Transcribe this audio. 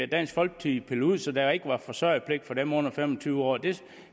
dansk folkeparti pillet ud så der ikke var forsørgerpligt for dem under fem og tyve år det